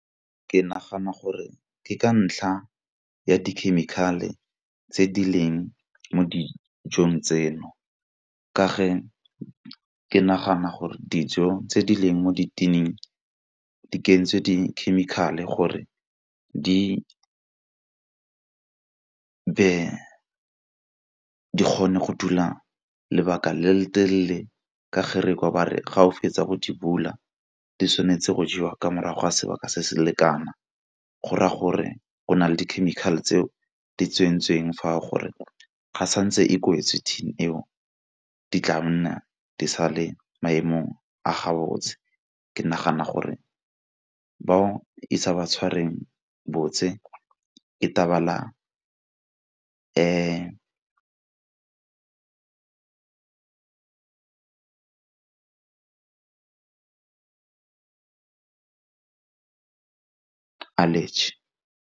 Ke nagana gore ke ka ntlha ya di-chemical-e tse di leng mo dijong tseno. Ka fa ke nagana gore dijo tse di leng mo di-tin-ing ka di kentswe di-chemical-e gore di kgone go dula lebaka le le telele, ka fa re kwa ba re ga o fetsa go di bula di tshwanetse go jewa ka morago ga sebaka se se le kana. Go gore go na le di-chemical tseo di tsentsweng fa gore ga santse e kwetswe thini eo di tla nna di sa le maemong a ga botse ke nagana gore bao e sa ba tshwarweng botse e allergy.